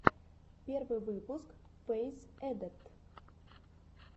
первый выпуск фэйз эдэпт